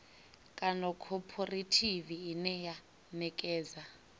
kana khophorethivi ine ya ṋekedza